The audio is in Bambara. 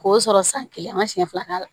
K'o sɔrɔ san kelen an ka siɲɛ fila k'a la